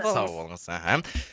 сау болыңыз іхі